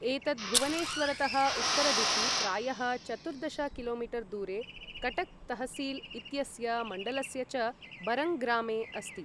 एतत् भुवनेश्वरतः उत्तरदिशि, प्रायः चतुर्दश कि.मी. दूरे कटक् तहसील् इत्यस्य मण्डलस्य च बरङ्ग ग्रामे अस्ति।